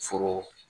Foro